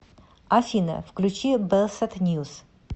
афина включи белсат ньюс